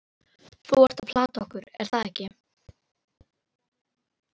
Þú ert að plata okkur, er það ekki?